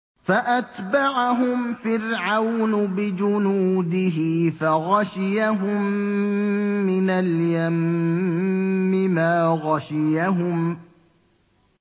فَأَتْبَعَهُمْ فِرْعَوْنُ بِجُنُودِهِ فَغَشِيَهُم مِّنَ الْيَمِّ مَا غَشِيَهُمْ